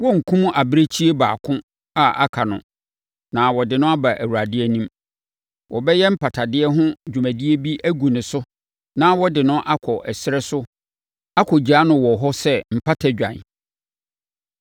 Wɔrenkum abirekyie baako a aka no na wɔde no aba Awurade anim. Wɔbɛyɛ mpatadeɛ ho dwumadie bi agu ne so na wɔde no akɔ ɛserɛ so akɔgya no wɔ hɔ sɛ mpatadwan.